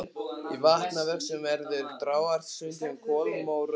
Í vatnavöxtum verða dragár stundum kolmórauðar.